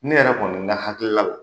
Ne yɛrɛ kɔni n ka hakilila la.